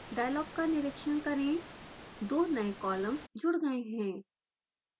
dialogue का निरिक्षण करें दो नए कॉलम्स जुड़ गए हैं